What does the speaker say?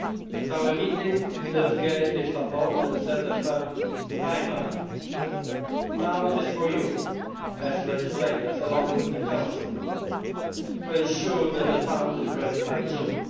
At our meeting, leaders gave their support and set a firm timeline. Now it is for you, as legislators along with the Council, to ensure that the fund is ready by June.